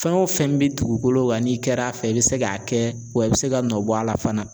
Fɛn o fɛn bɛ dugukolo kan n'i kɛra a fɛ i bɛ se k'a kɛ wa i bɛ se ka nɔ bɔ a la fana.